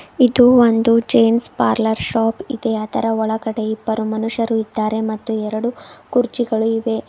ಇದು ಒಂದು James parlour shop ಇದೆ ಅದರ ಒಳಗಡೆ ಇಬ್ಬರು ಮನುಷ್ಯರು ಇದ್ದಾರೆ ಮತ್ತು ಎರಡು ಕುರ್ಚಿಗಳು ಇವೆ.